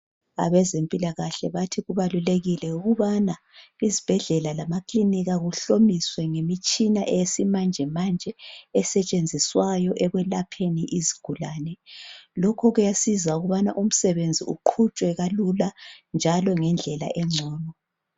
Abazempilakahle bathi kubalulekile ukubana izibhedlela lamaklinika kuhlomiswe ngemitshina eyesimanjemanje esetshenziswayo ekwelapheni izigulane , lokho kuyasiza ukubana umsebenzi uqhutshwe kalula njalo ngendlela engcono